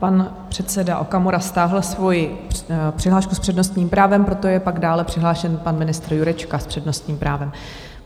Pan předseda Okamura stáhl svoji přihlášku s přednostním právem, proto je pak dále přihlášen pan ministr Jurečka s přednostním právem.